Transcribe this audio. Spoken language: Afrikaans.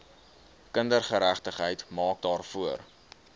kindergeregtigheid maak daarvoor